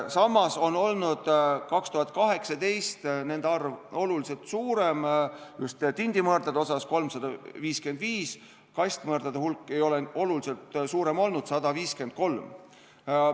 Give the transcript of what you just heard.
Samas oli 2018 see oluliselt suurem, just tindimõrdadega, 355, kastmõrdadega ei ole oluliselt suurem olnud, 153.